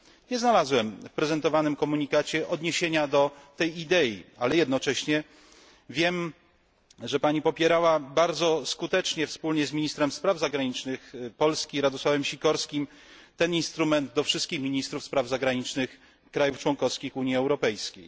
Nie znalazłem w prezentowanym komunikacie odniesienia do tej idei, ale jednocześnie wiem, że Pani promowała bardzo skutecznie, wspólnie z ministrem spraw zagranicznych Polski Radosławem Sikorskim, ten instrument wśród wszystkich ministrów spraw zagranicznych krajów członkowskich Unii Europejskiej.